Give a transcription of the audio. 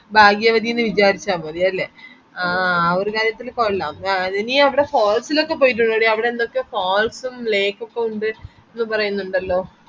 ഭാഗ്യവതിന്ന് വിചാരിച്ച മതി അല്ലെ ഒരുതരത്തില് കൊല്ലം ആ നീ അവിടെ forest ലോക്കെ പോയിട്ടുണ്ടോടി അവിടെ എന്തൊക്കെയോ ഉം lake ഒക്കെ ഉണ്ടെന്ന് പറയുന്നുണ്ടല്ലോ